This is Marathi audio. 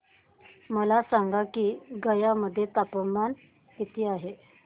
मला सांगा की गया मध्ये तापमान किती आहे